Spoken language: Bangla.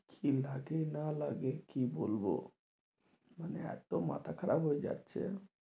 কি লাগে না লাগে কি বলবো মানে এতো মাথা খারাপ হয়ে যাচ্ছে